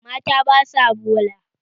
Mata ba sa bola.